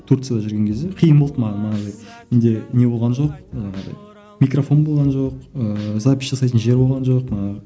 турцияда жүрген кезде қиын болды маған манағыдай менде не болған жоқ манағындай микрофон болған жоқ ыыы запись жасайтын жер болған жоқ ыыы